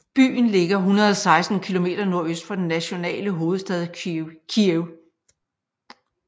Byen ligger 116 km nordøst for den nationale hovedstad Kyiv